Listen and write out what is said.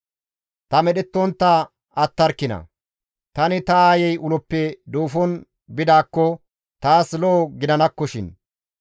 Ta medhettontta attarkina; tani ta aayey uloppe duufon bidaakko taas lo7o gidanakkoshin!